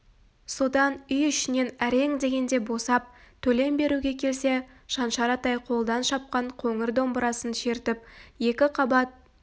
содан үй ішінен әрең дегенде босап төлем беруге келсе шаншар атай қолдан шапқан қоңыр домбырасын шертіп екі қабат